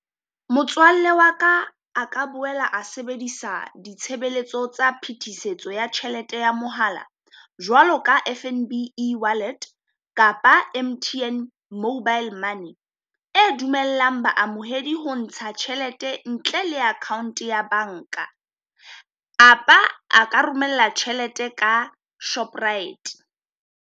Motswalle wa ka a ka boela a sebedisa ditshebeletso tsa phetisetso ya tjhelete ya mohala jwalo ka F_N_B eWallet, kapa M_T_N Mobile Money. E dumellang baamohedi ho ntsha tjhelete ntle le account ya banka, apa a ka romela tjhelete ka Shoprite.